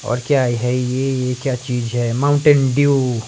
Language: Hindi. और क्या है ये ये क्या चीज है मौंटैन डुउउ --